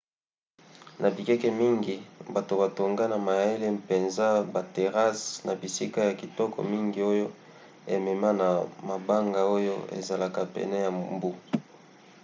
na bikeke mingi bato batonga na mayele mpenza baterrasses na bisika ya kitoko mingi oyo emema na mabanga oyo ezalaka pene ya mbu